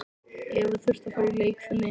Eva þurfti að fara í leikfimi.